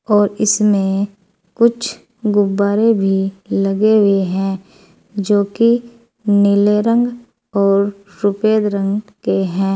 और इसमें कुछ गुब्बारे भी लगे हुए हैं जो कि नीले रंग और सफेद रंग के हैं।